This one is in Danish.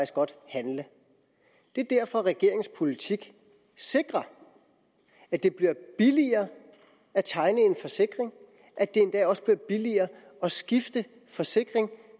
godt handle det er derfor at regeringens politik sikrer at det bliver billigere at tegne en forsikring at det endda også bliver billigere at skifte forsikring